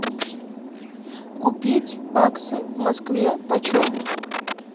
купить баксы в москве почем